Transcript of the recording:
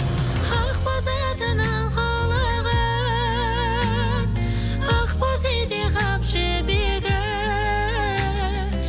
ақ бозатының құлығын ақ боз ете қап жібегі